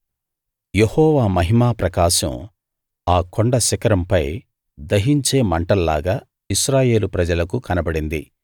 యెహోవా మహిమా ప్రకాశం ఆ కొండ శిఖరంపై దహించే మంటల్లాగా ఇశ్రాయేలు ప్రజలకు కనబడింది